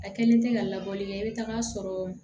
A kɛlen tɛ ka labɔli kɛ i bɛ taga sɔrɔ